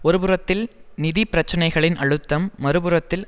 ஒருபுறத்தில் நிதி பிரச்சினைகளின் அழுத்தம் மறுபுறத்தில்